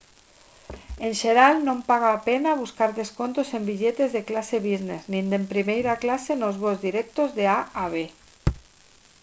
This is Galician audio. en xeral non paga a pena buscar descontos en billetes de clase business nin de primeira clase nos voos directos de a a b